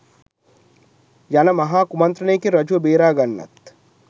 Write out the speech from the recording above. යන මහා කුමන්ත්‍රණයකින් රජුව බේරාගන්නත්